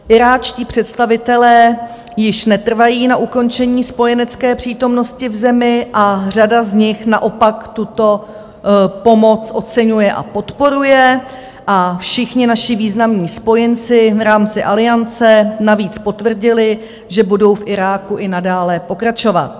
Iráčtí představitelé již netrvají na ukončení spojenecké přítomnosti v zemi a řada z nich naopak tuto pomoc oceňuje a podporuje a všichni naši významní spojenci v rámci Aliance navíc potvrdili, že budou v Iráku i nadále pokračovat.